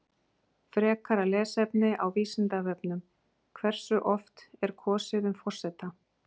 Frekara lesefni á Vísindavefnum: Hversu oft er kosið um forseta?